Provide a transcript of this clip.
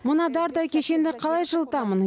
мына дардай кешенді қалай жылытамын